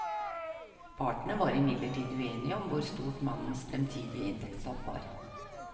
Partene var imidlertid uenige om hvor stort mannens fremtidige inntektstap var.